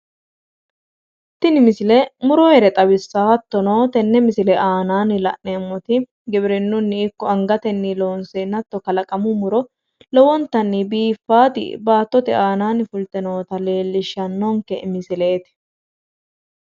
Tini misile muroyeere xawissayo hattono tenne misile aanaanni la'neemmoti giwirinnunni ikko angatenni loonseenna hatto kalaqamu muro lowontanni biiffaati baattote aanaanni fulte noota leellishshannonke misileeti